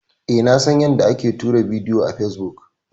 E, na san yanda ake tura bidiyo a fesbuk.